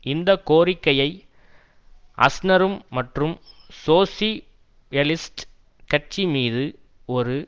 இந்த கோரிக்கையை அஸ்னரும் மற்றும் சோசி யலிஸ்ட் கட்சி மீது ஒரு